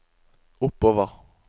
oppover